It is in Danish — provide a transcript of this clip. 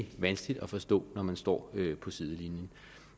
vanskeligt at forstå når man står på sidelinjen